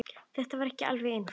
Þetta var ekki alveg einfalt